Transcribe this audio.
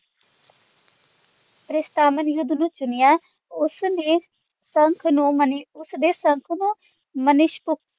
ਪ੍ਰਿਸ਼ਟਾਮਾਨੀ ਚੁਣਿਆ ਉਸਨੇ ਸੰਖ ਨੂੰ ਉਸਦੇ ਸੰਖ ਨੂੰ ਮਨੀਸ਼।